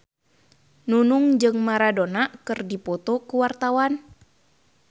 Nunung jeung Maradona keur dipoto ku wartawan